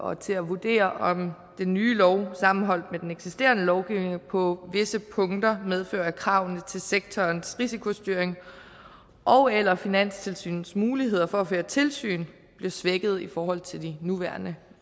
og til at vurdere om den nye lov sammenholdt med den eksisterende lovgivning på visse punkter medfører at kravene til sektorens risikostyring ogeller finanstilsynets muligheder for at føre tilsyn bliver svækket i forhold til de nuværende